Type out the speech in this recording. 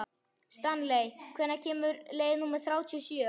Stanley, hvenær kemur leið númer þrjátíu og sjö?